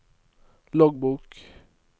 loggbok